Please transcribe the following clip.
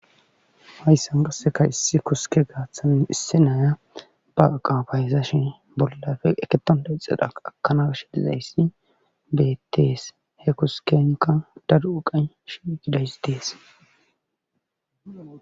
Hayssan qassekka isi koske gaaththan issi nay ba iqqa bayzashe bollappe eketointa ixida eqqa ekana gashe dizayssi beetees. kuskenkka daro iqqaqy shiiqidays dees.